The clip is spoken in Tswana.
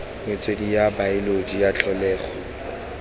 metswedi ya baoloji ya tlholego